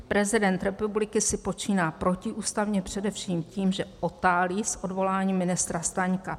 Prezident republiky si počíná protiústavně především tím, že otálí s odvoláním ministra Staňka.